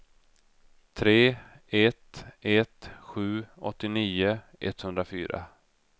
tre ett ett sju åttionio etthundrafyra